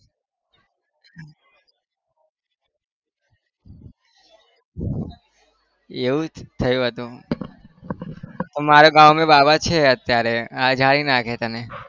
એવું જ થયું હતું અમારે ગામ માં બાવા છે અત્યારે નાખે તને.